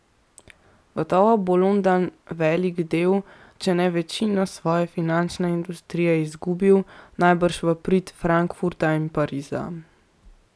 Gotovo bo London velik del, če ne večino, svoje finančne industrije izgubil, najbrž v prid Frankfurta in Pariza.